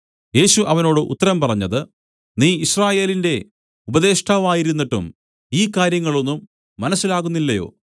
യേശു അവനോട് ഉത്തരം പറഞ്ഞത് നീ യിസ്രായേലിന്റെ ഉപദേഷ്ടാവായിരുന്നിട്ടും ഈ കാര്യങ്ങളൊന്നും മനസ്സിലാകുന്നില്ലയോ